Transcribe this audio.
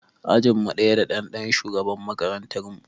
Ajinmu ɗaya da ɗan shugaban makarantar mu.